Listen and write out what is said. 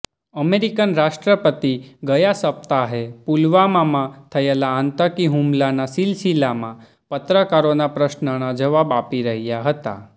American રાષ્ટ્રપતિ ગયા સપ્તાહે પુલવામામાં થયેલા આતંકી હુમલાના સિલસિલામાં પત્રકારોના પ્રશ્નના જવાબ આપી રહ્યા હતા